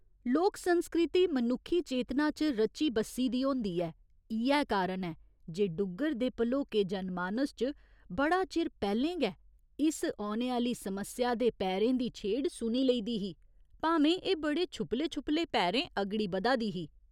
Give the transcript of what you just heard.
लोक संस्कृति मनुक्खी चेतना च रची बस्सी दी होंदी ऐ, इ'यै कारण ऐ जे डुग्गर दे भलोके जनमानस च बड़ा चिर पैह्‌लें गै इस औने आह्‌ली समस्या दे पैरें दी छेड़ सुनी लेई दी ही भामें एह् बड़े छुपले छुपले पैरें अगड़ी बधा दी ही।